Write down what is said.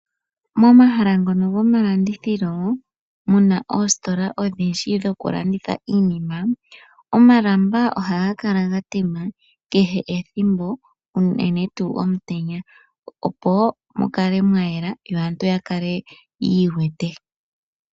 Momahala ngono gomalandithilo muna oositola odhindji dhoku landitha iinima ,omalamba ohaga kala ga tema kehe ethimbo unene tuu omutenya opo woo mukale mwayela yo aantu yakale yi iwete.